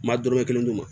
Ma dɔrɔmɛ kelen d'u ma